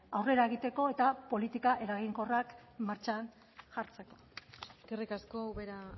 aurrera egiteko eta politika eraginkorrak martxan jartzeko eskerrik asko ubera